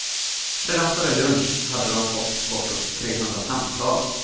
Redan före lunch hade de fått bortåt trehundra samtal.